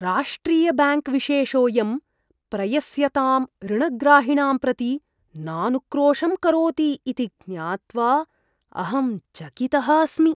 राष्ट्रिय ब्याङ्क् विशेषोयं प्रयस्यतां ऋणग्राहिणां प्रति नानुक्रोशं करोति इति ज्ञात्वा अहं चकितः अस्मि।